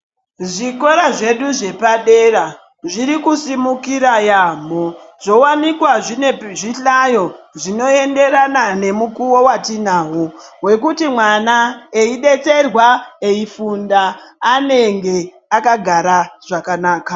Zvikora zvedu zvepadera zviriku simukira yamho zvo wanikwa zvine zvi hlayo zvino enderana ne mukuwo watinawo wekuti mwana eyi detserwa eyi funda anenge akagara zvakanaka.